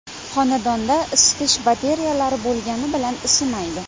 Xonadonda isitish batareyalari bo‘lgani bilan isimaydi.